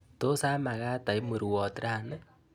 Tos amakat aip murwoot rani?